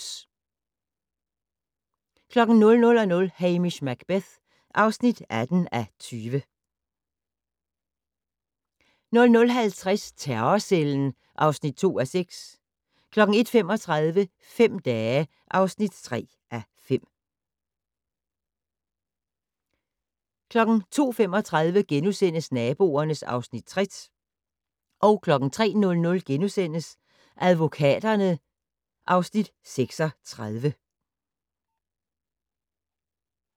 23:55: OBS 00:00: Hamish Macbeth (18:20) 00:50: Terrorcellen (2:6) 01:35: Fem dage (3:5) 02:35: Naboerne (Afs. 60)* 03:00: Advokaterne (Afs. 36)*